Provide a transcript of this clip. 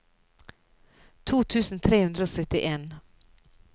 to tusen tre hundre og syttien